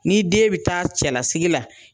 Ni den bɛ taa cɛlsigi la